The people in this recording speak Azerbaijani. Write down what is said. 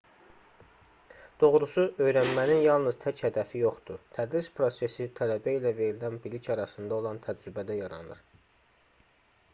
doğrusu öyrənmənin yalnız tək hədəfi yoxdur tədris prosesi tələbə ilə verilən bilik arasında olan təcrübədə yaranır